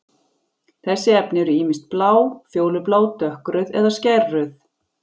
Þessi efni eru ýmist blá, fjólublá, dökkrauð eða skærrauð.